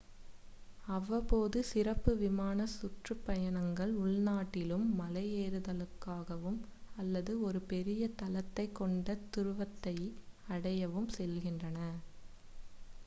அவ்வப்போது சிறப்பு விமானச் சுற்றுப்பயணங்கள் உள்நாட்டிலும் மலையேறுதலுக்காகவும் அல்லது ஒரு பெரிய தளத்தைக் கொண்ட துருவத்தை அடையவும் செல்கின்றன